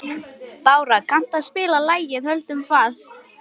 En það sást ekkert far, sagði Kobbi.